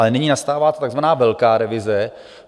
Ale nyní nastává takzvaná velká revize.